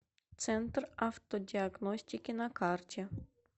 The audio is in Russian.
центр автодиагностики на карте